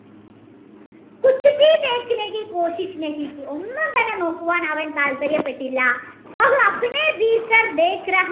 ഒന്നും തന്നെ നോക്കുവാൻ അവൻ താത്പര്യപെട്ടില്ല